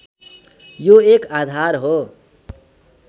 यो एक आधार हो